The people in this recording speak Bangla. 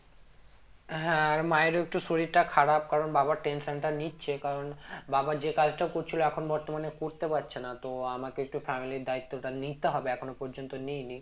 হ্যাঁ আর মায়ের ও একটু শরীরটা খারাপ কারণ বাবার tension টা নিচ্ছে কারণ বাবা যে কাজটা করছিলো এখন বর্তমানে করতে পারছে না তো আমাকে একটু family র দায়িত্বটা নিতে হবে এখন পর্যন্ত নি নি